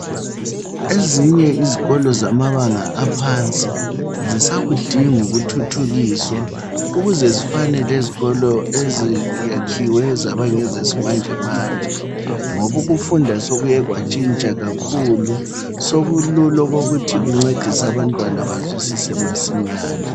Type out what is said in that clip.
Ezinye izikolo zamabanga aphansi zisakudinga ukuthuthukiswa ukuze zifane lezikolo ezakhiwe zaba ngezesimanje manje, ngoba ukufunda sekuye kwatshintsha kakhulu. Sokulula okokuthi kuncedise abantwana bazwisise masinyane